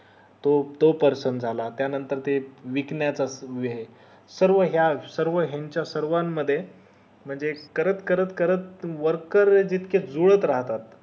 तो तो person झाला त्या नंतर ते विकण्या म्हणजे सर्व या सर्व यांच्या सर्वान मध्ये म्हणजे करत करत करत worker जितके जुळत राहतात